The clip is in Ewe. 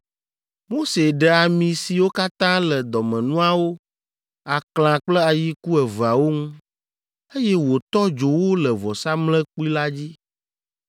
Mose ɖe ami siwo katã le dɔmenuawo, aklã kple ayiku eveawo ŋu, eye wòtɔ dzo wo le vɔsamlekpui la dzi.